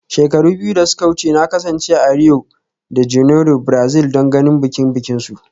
Shekaru biyu da suka wuce, na kasance a Rio de Janeiro, Brazil don ganin bikin bikinsu